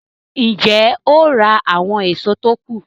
Ń jẹ́ ó ra àwọn èso tó kù